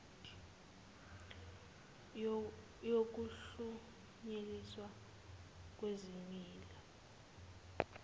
yokuhlunyelel iswa kwezimilo